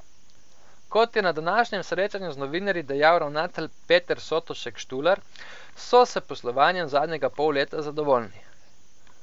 Kot je na današnjem srečanju z novinarji dejal ravnatelj Peter Sotošek Štular, so s poslovanjem zadnjega pol leta zadovoljni.